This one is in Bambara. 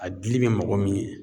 A dili bɛ mago min ɲɛ